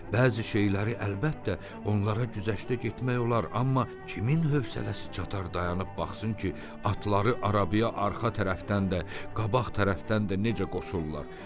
Bəzi şeyləri əlbəttə, onlara güzəştə getmək olar, amma kimin hövsələsi çatar dayanıb baxsın ki, atları arabaya arxa tərəfdən də, qabaq tərəfdən də necə qoşurlar?